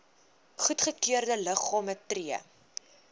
goedgekeurde liggame tree